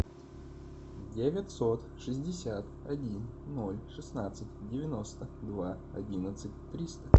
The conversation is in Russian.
девятьсот шестьдесят один ноль шестнадцать девяносто два одиннадцать триста